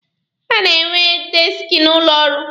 A na-enwe deeski n'ụlọ ọrụ.